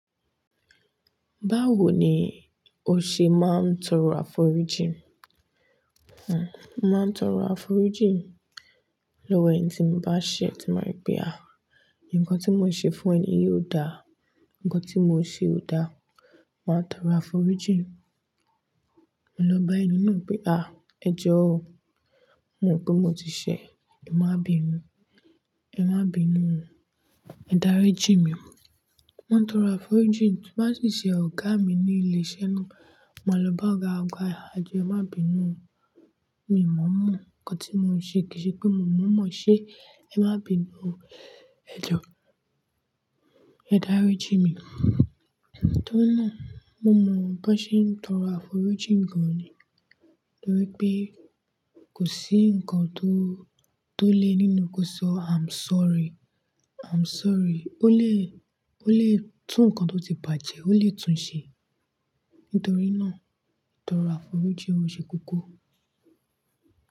Báwo ni o ṣe máa ń tọrọ àforíjì? Hmm, mo màá ń tọrọ àforíjì lọ́wọ́ ẹni tí mo bá ṣe, tí ma ri pé àá nkan tí mò ṣe fún ẹni yìí ò dà, ǹkan tí mò ṣe ò dà, màá tọrọ àforíjì. Ma lọ bá ẹni náà pé, "à, ẹ jọ̀ọ́, mo mọ̀ pé mo ti ṣẹ, ẹ má bínu, ẹ má bínu, ẹ dárí jí mi." máa n tọrọ àforíjì, tó bá sì ṣe ọ̀gá mi ní ilé iṣẹ́ náà, màá lọ bá ọ̀gá, ọgá "à ẹ́ jọọ ẹmá bínu, mi ò mọ̀ mọ ǹkan tí mò ń ṣe kìí ṣe pé mo mọ̀ mọ̀ ṣe, ẹ má bínu, ẹ jọ̀ọ́, ẹ dárí jí mi." Nítorí náà, mo mọ̀ bí wọ́n ṣe ń tọrọ àforíjì gan ni. Nítorí pé kò sí ǹkan tó, tó le nínú kó sọ "I'm sorry, I'm sorry." Ó lè, ó lè tún ǹkan tó ti bàjẹ́, ó lè tún ṣe. Nítorí náà, tọrọ àforíjì ó ṣe kókó.